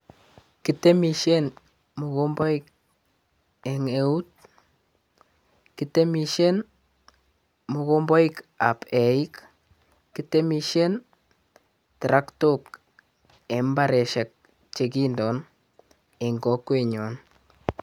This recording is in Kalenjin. Kitemisien mokomboik eng eut, kitemisien mokomboik ab eiik, kitemisien traktook eng mbareshek che kindoon eng kokwenyon.